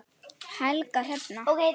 Helga Hrefna.